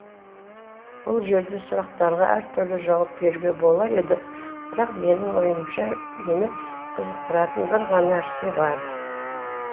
бұл жерде сұрақтарға әртүрлі жауап беруге болар еді бірақ менің ойымша мені қызықтыратын бір ғана нәрсе бар